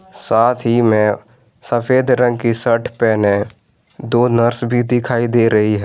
साथ ही में सफेद रंग की शर्ट पहने दो नर्स भी दिखाई दे रही है।